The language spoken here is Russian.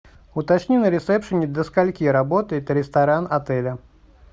уточни на ресепшене до скольки работает ресторан отеля